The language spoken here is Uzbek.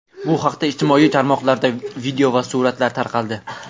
Bu haqda ijtimoiy tarmoqlarda video va suratlar tarqaldi.